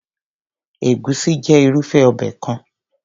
Egusi jẹ́ irúfé obẹ̀ kan.